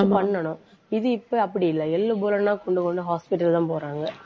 பண்ணணும். இது இப்ப அப்படி இல்லை. எள்ளு, புல்லுனா full ஒண்ணு hospital தான் போறாங்க.